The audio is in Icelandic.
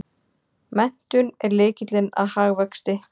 Menntun er lykillinn að hagvexti!